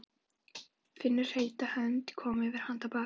Finnur heita hönd koma yfir handarbak.